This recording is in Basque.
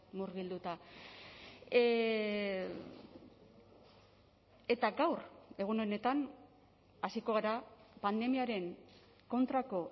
murgilduta eta gaur egun honetan hasiko gara pandemiaren kontrako